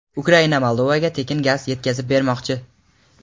Ukraina Moldovaga tekinga gaz yetkazib bermoqchi.